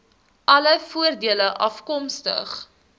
alle voordele afkomstig